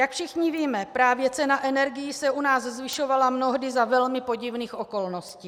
Jak všichni víme, právě cena energií se u nás zvyšovala mnohdy za velmi podivných okolností.